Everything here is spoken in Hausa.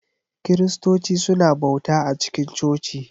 Kiristoci suna bauta a cikin coci.